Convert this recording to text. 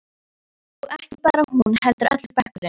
Og ekki bara hún heldur allur bekkurinn.